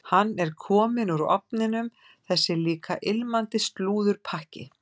Hann er kominn úr ofninum, þessi líka ilmandi slúðurpakki.